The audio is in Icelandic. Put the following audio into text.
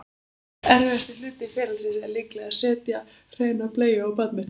Erfiðasti hluti ferlisins er líklega að setja hreina bleiu á barnið.